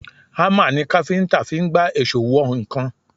Hámà ni káfíńtà fi ń gbá èṣó wọ nǹkan